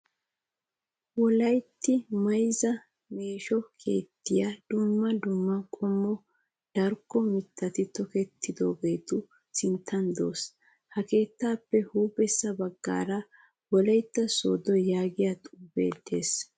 Wolayitta mayizza meesho keettayi dumma dumma qommo darkko mittati tokettidaageetu sinttan des. Ha keettaappe huuphessa baggaara wolayitta soodo yaagiya xuupee des.